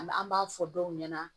An b'a fɔ dɔw ɲɛna